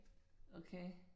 Okay